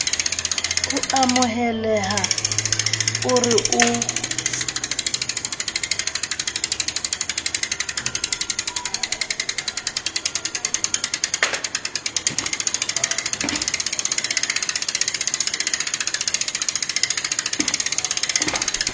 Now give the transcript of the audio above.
o amohelehang o re o